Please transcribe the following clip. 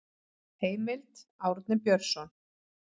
Heimild: Árni Björnsson.